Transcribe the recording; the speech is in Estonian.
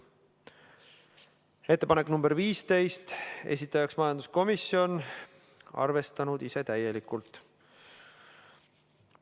Ettepanek nr 15, esitajaks majanduskomisjon, arvestanud ise täielikult.